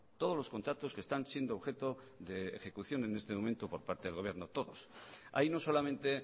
todos los contratos que están siendo objeto de ejecución en este momento por parte del gobierno todos hay no solamente